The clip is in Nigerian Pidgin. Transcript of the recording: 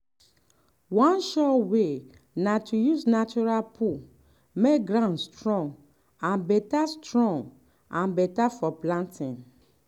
one sure way na to use natural poo make ground strong and better strong and better for planting.